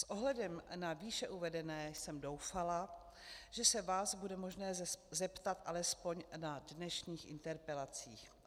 S ohledem na výše uvedené jsem doufala, že se vás bude možné zeptat alespoň na dnešních interpelacích.